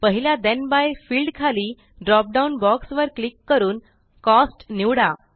पहिल्या then by field खाली drop down box वर क्लिक करून कॉस्ट निवडा